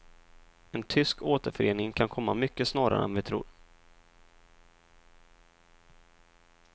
En tysk återförening kan komma mycket snarare än vi tror.